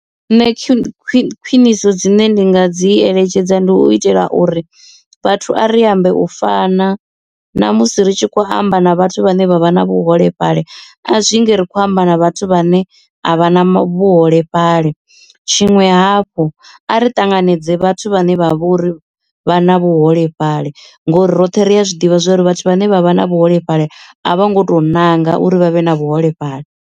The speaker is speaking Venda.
Nṋe khwiniso dzine ndi nga dzi eletshedza ndi u itela uri vhathu a ri ambe u fana na musi ri tshi khou amba na vhathu vhane vha vha na vhuholefhali a zwinzhi ri khou amba na vhathu vhane a vha na hone vhuholefhali, tshiṅwe hafhu a ri tanganedze vhathu vhane vha vha uri vha na vhuholefhali ngori roṱhe ri a zwiḓivha zwauri vhathu vhane vha vha na vhuholefhali a vho ngo to nanga uri vha vhe na vhuholefhali.